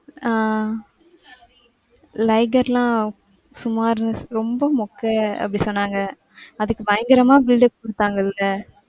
ஆஹ் Liger லாம் சுமார், ரொம்ப மொக்க அப்டி சொன்னாங்க. அதுக்கு பயங்கரமா build up குடுத்தாங்கள்ள.